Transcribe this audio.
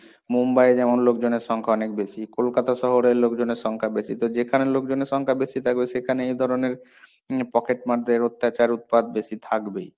মুম্বাইয়ে যেমন লোকজনের সংখ্যা অনেক বেশি, কোলকাতা শহরের লোকজনের সংখ্যা বেশি, তো যেখানে লোকজনের সংখ্যা বেশি থাকবে সেখানে এই ধরনের উম পকেটমারদের অত্যাচার, উৎপাত বেশি থাকবেই।